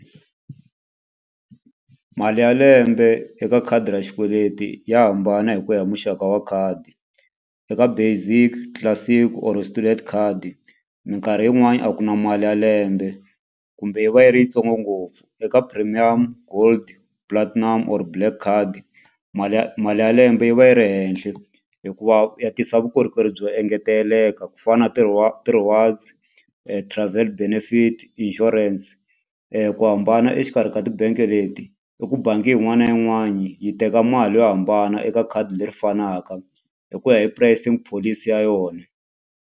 Mali ya lembe eka khadi ra xikweleti ya hambana hi ku ya hi muxaka wa khadi eka basic, classic or student khadi mikarhi yin'wani a ku na mali ya lembe kumbe yi va yi ri yitsongo ngopfu eka premium gold platinum of black card mali ya mali ya lembe yi va yi ri henhla hikuva ya tisa vukorhokeri byo engeteleka ku fana na ti-rewards, travel benefit, insurance ku hambana exikarhi ka ti-bank leti i ku bangi yin'wani na yin'wanyani yi teka mali yo hambana eka khadi leri fanaka hi ku ya hi pricing policy ya yona.